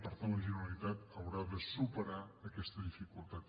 per tant la generalitat haurà de superar aquesta dificultat